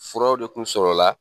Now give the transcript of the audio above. Furaw de tun sɔrɔla